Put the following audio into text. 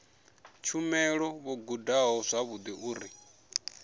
tshumelo vho gudaho zwavhudi uri